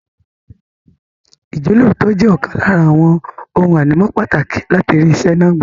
Ìjọ́lóòótọ́ jẹ́ ọ̀kan lára àwọn ohun ànímọ́ pàtàkì láti rí iṣẹ́ náà gbà.